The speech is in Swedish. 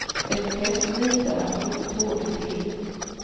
Ett test visade att hon inte tålde te.